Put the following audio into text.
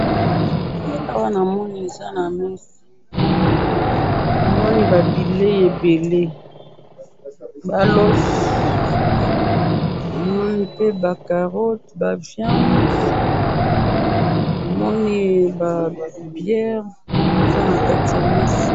Awa namoni eza na mesa ,namoni ba bilei ebele ,ba loso ,pe ba carottes ba viande namoni ba biere eza na kati ya mesa